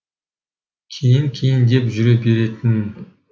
кейін кейін деп жүре беретінмін